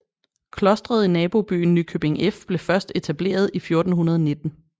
Klostret i nabobyen Nykøbing F blev først etableret i 1419